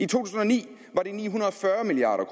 tusind og ni var de ni hundrede og fyrre milliard